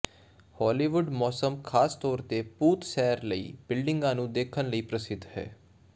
Hollywood ਮੌਸਮ ਖਾਸ ਤੌਰ ਤੇ ਭੂਤ ਸੈਰ ਲਈ ਬਿਲਡਿੰਗ ਨੂੰ ਦੇਖਣ ਲਈ ਪ੍ਰਸਿੱਧ ਹੈ